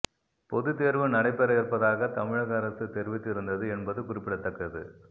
பொதுத் தேர்வு நடைபெற இருப்பதாக தமிழக அரசு தெரிவித்திருந்தது என்பது குறிப்பிடத்தக்கது